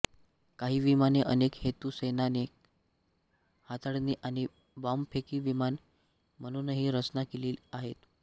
काही विमाने अनेक हेतू सैनिक हाताळणी आणि बाँबफेकी विमाने म्हणूनही रचना केलेली आहेत